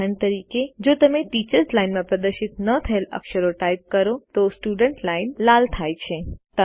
ઉદાહરણ તરીકે જો તમે ટીચર્સ લાઇન માં પ્રદર્શિત ન થયેલ અક્ષરો ટાઇપ કરો તો સ્ટુડન્ટ લાઇન લાલ થાય છે